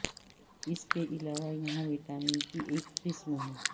اس کے علاوہ یہاں وٹامن کی ایک قسم ہیں